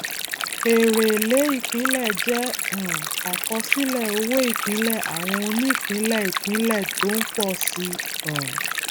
èrè èlé ìpínlẹ jẹ um àkọsílẹ owóìpínlẹ àwọn onípínlẹìpínlẹ tó ń pọ sí i um